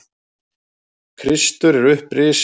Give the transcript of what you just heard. Kristur er upprisinn.